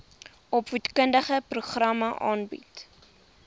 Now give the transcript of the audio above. opvoedkundige programme aanbied